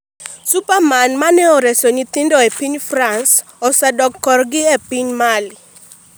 Spiderman ma ne oreso nyathi e piny france osedok korgi e piny Mali